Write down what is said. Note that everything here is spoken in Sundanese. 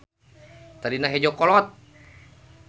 Tadina hejo kolot.